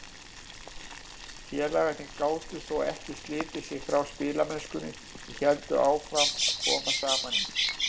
Félagarnir gátu þó ekki slitið sig frá spilamennskunni og héldu áfram að koma saman í